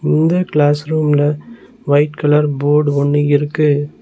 இந்த கிளாஸ் ரூம்ல white colour board ஒன்னு இருக்கு.